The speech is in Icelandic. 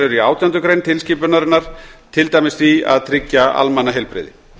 eru í átjándu grein tilskipunarinnar til dæmis því að tryggja almannaheilbrigði